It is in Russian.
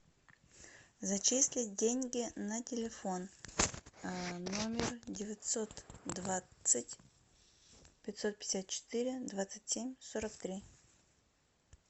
зачислить деньги на телефон номер девятьсот двадцать пятьсот пятьдесят четыре двадцать семь сорок три